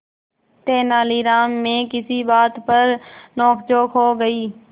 तेनालीराम में किसी बात पर नोकझोंक हो गई